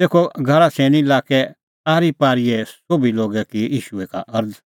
तेखअ गरासेनी लाक्कै आरीपारीए सोभी लोगै की ईशू का अरज़